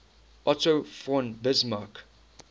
otto von bismarck